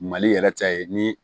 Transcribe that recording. Mali yɛrɛ ta ye ni